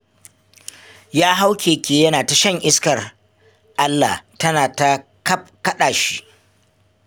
Ya hau keke yana ta shan iskar Allah tana ta kaɗa shi